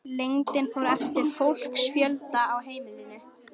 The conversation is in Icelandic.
Lengdin fór eftir fólksfjölda á heimilunum.